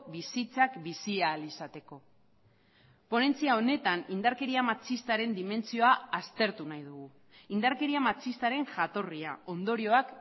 bizitzak bizi ahal izateko ponentzia honetan indarkeria matxistaren dimentsioa aztertu nahi dugu indarkeria matxistaren jatorria ondorioak